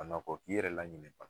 A na kɔ 'i yɛrɛ laɲinɛ